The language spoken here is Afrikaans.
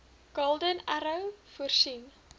golden arrow voorsien